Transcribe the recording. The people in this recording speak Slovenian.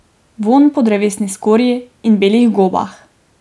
Vonj po drevesni skorji in belih gobah.